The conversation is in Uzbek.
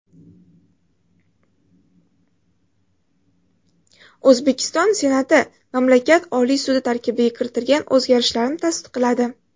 O‘zbekiston Senati mamlakat Oliy sudi tarkibiga kiritilgan o‘zgarishlarni tasdiqladi.